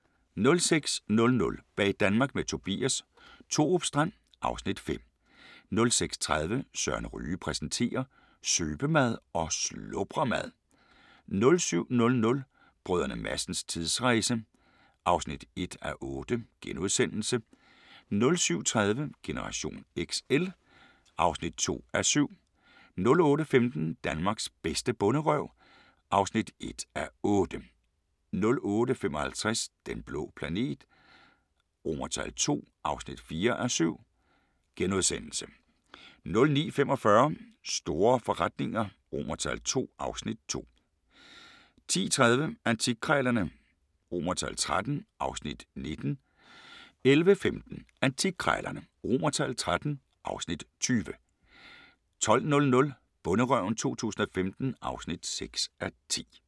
06:00: Bag Danmark med Tobias – Thorupstrand (Afs. 5) 06:30: Søren Ryge præsenterer: Søbemad og slubremad 07:00: Brdr. Madsens tidsrejse (1:8)* 07:30: Generation XL (2:7) 08:15: Danmarks bedste bonderøv (1:8) 08:55: Den blå planet II (4:7)* 09:45: Store forretninger II (Afs. 2) 10:30: Antikkrejlerne XIII (Afs. 19) 11:15: Antikkrejlerne XIII (Afs. 20) 12:00: Bonderøven 2015 (6:10)